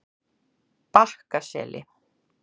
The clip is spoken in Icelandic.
Bakkaseli